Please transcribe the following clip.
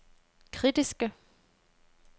kritiske